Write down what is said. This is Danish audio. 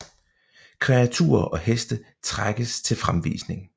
Kreaturer og heste trækkes til fremvisning